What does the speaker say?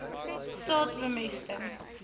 saad bemesting